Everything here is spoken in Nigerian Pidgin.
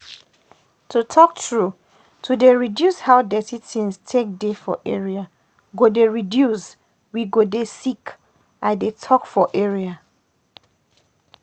to talk true to dey reduce how dirty things take dey for area go dey reduce we go dey sick i dey talk for area.